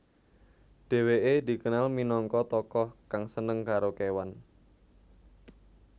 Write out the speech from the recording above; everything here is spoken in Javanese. Dheweke dikenal minangka tokoh kang seneng karo kewan